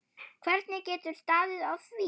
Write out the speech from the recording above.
Hvernig getur staðið á því.